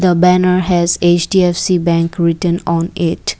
the banner has H_D_F_C bank written on it.